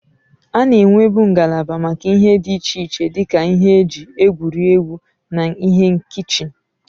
A na-enwebu ngalaba maka ihe dị iche iche dị ka ihe eji egwuri egwu na ihe kichin.